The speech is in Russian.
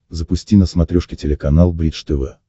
запусти на смотрешке телеканал бридж тв